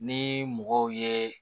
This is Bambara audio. Ni mɔgɔw ye